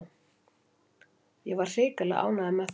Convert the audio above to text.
Ég var hrikalega ánægður með þá.